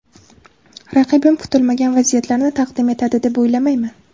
Raqibim kutilmagan vaziyatlarni taqdim etadi, deb o‘ylamayman.